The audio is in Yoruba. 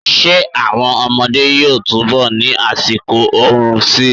Ṣé àwọn ọmọdé yóò túnbọ̀ ni àsìkò oorun síi.